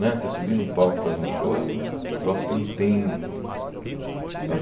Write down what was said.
Né você subir num palco e fazer um show é um troço que não tem...